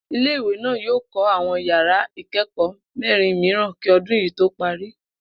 Ilé ìwé náà yóò kó̩ àwo̩n yàr̩á ìké̩kò̩ó̩ mé̩rin mìíràn kí o̩dún yìí tó parí